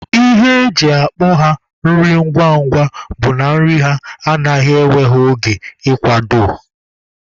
Ihe eji akpọ ya nri ngwa ngwa bụ na nri ha anaghị ewe ha oge ị kwado.